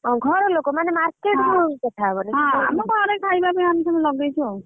ଏମିତି ଘରେ ଖାଇବାକୁ ଆମେ ସବୁ ଲଗେଇଛୁ ଆଉ।